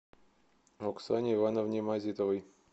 оксане ивановне мазитовой